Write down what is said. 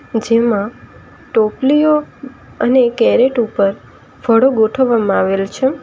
જેમા ટોપલીઓ અને કેરેટ ઉપર ફાળો ગોઠવવામાં આવેલ છે.